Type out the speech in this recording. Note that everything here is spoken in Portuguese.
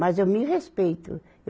Mas eu me respeito.